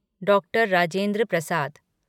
डॉ. राजेंद्र प्रसाद